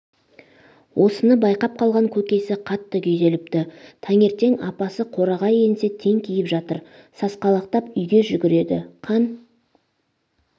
осыны байқап қалған көкесі қатты күйзеліпті таңертең апасы қораға енсе теңкиіп жатыр сасқалақтап үйге жүгіреді қан